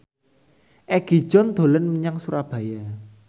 Egi John dolan menyang Surabaya